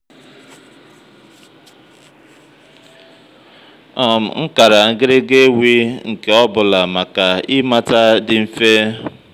um m kàrà ngị́rị́gà éwí nké ọ́ bụ́làmàkà ị́mátá dị́ ḿfè